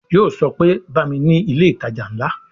Yo sọ pé "Bá mi ni ilé ìtajà ńlá"